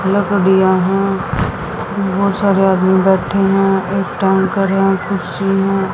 दिया है बहोत सारे आदमी बैठे हैं एक टाइम --